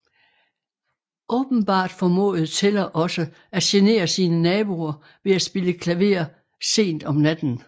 Åbenbart formåede Teller også at genere sine naboer ved at spille klaver sent om natten